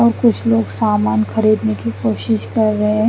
और कुछ लोग सामन खरीदने की कोशिश कर रहे है।